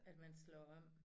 At man slår om